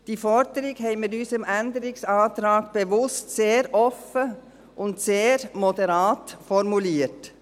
Diese Forderung haben wir in unserem Änderungsantrag bewusst sehr offen und sehr moderat formuliert.